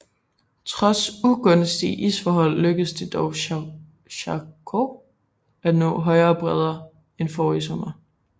Trods ugunstige isforhold lykkedes det dog Charcot at nå højere bredder end forrige sommer